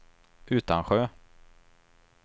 Utansjö